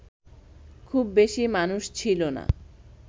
খুব বেশি মানুষ ছিল না